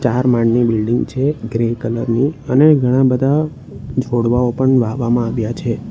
ચાર માળની બિલ્ડીંગ છે ગ્રીન કલર ની અને ઘણા બધા છોડવાઓ પણ વાવવામાં આવ્યા છે.